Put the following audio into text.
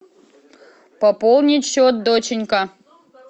пополнить счет доченька